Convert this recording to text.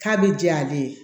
K'a bɛ diya ale ye